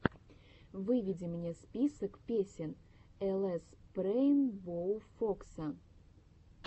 выведи мне список песен лспрейнбоуфокса